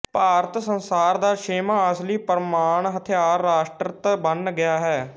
ਭਾਰਤ ਸੰਸਾਰ ਦਾ ਛੇਵਾਂ ਅਸਲੀ ਪਰਮਾਣੁ ਹਥਿਆਰ ਰਾਸ਼ਟਰਤ ਬੰਨ ਗਿਆ ਹੈ